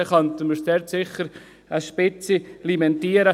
Dann könnten wir sie auf eine Spitze limitieren.